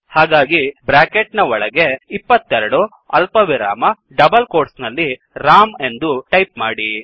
ಹಾಗಾಗಿ ಬ್ರ್ಯಾಕೆಟ್ ನ ಒಳಗೆ 22 ಅಲ್ಪವಿರಾಮ ಡಬಲ್ ಕೋಟ್ಸ್ ನಲ್ಲಿ ರಾಮ್ ಎಂದು ಟೈಪ್ ಮಾಡಿ